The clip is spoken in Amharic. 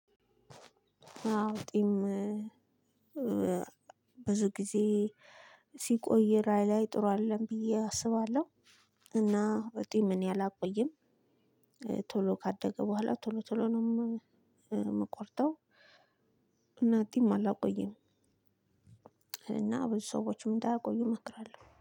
አውጢም ብዙ ጊዜ ሲቆይ ራዕይ ላይ ጥሩ አይደለም ብዬ አስባለሁ። እና ወጥኝ ምን አላቆየም። ቶሎ ካደገ በኋላ ቶሎ ቶሎ ነው የምቆርጠው። እናቲም አላቆይም። እና ብዙ ሰዎችም እንዳያቆዩ እመክራለሁ